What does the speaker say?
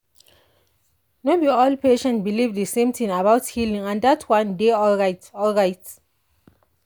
no be all patients believe the same thing about healing and dat one dey alright. alright.